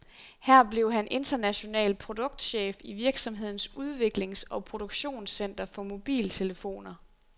Her blev han international produktchef i virksomhedens udviklings og produktionscenter for mobiltelefoner.